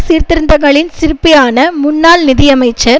சீர்திருத்தங்களின் சிற்பியான முன்னாள் நிதியமைச்சர்